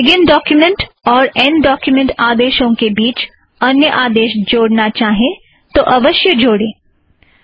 आप begin document और end document आदेशों के बीच अन्य आदेश जोड़ना चाहें तो अवश्य जोड़ें